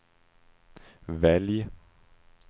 välj